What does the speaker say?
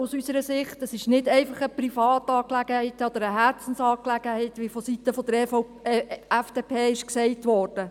Es ist nicht einfach eine Privat- oder eine Herzensangelegenheit, wie seitens der FDP gesagt wurde.